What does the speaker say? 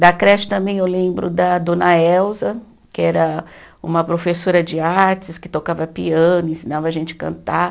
Da creche também eu lembro da dona Elza, que era uma professora de artes, que tocava piano, ensinava a gente cantar.